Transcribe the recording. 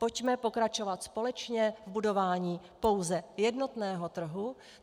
Pojďme pokračovat společně v budování pouze jednotného trhu.